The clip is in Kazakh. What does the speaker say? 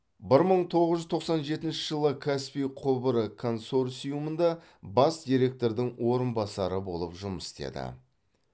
бір мың тоғыз жүз тоқсан жетінші жылы каспий құбыры консорциумында бас директордың орынбасары болып жұмыс істеді